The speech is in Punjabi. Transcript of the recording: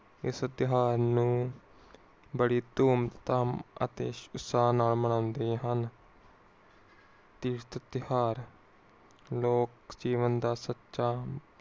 ਇਸ ਤਿਓਹਾਰ ਨੂੰ ਬੜੀ ਧੂਮਧਾਮ ਅਤੇ ਉਤਸਾਹ ਨਾਲ ਮੰਨਦੇ ਹਨ। ਇਹ ਤਿਯੋਹਾਰ ਲੋਕ ਜੀਵਨ ਦਾ ਸੱਚਾ